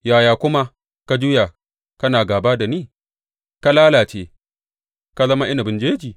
Yaya kuma ka juya kana gāba da ni ka lalace, ka zama inabin jeji?